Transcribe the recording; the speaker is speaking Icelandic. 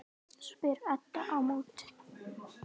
spyr Edda á móti.